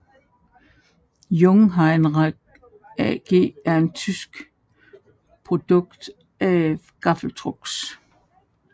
Jungheinrich AG er en tysk producent af gaffeltrucks